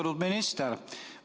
Austatud minister!